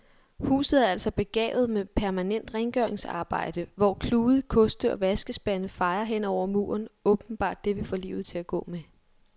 Huset er altså begavet med permanent rengøringsarbejde, hvor klude, koste og vaskespande fejer hen over muren, åbenbart det vi får livet til at gå med.